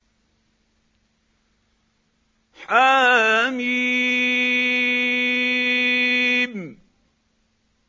حم